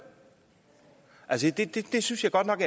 jeg synes godt nok